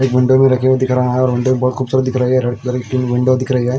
एक विंडो भी रखे हुए दिख रहा है--